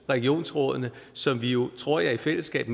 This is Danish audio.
regionsrådene som vi jo mener tror jeg i fællesskab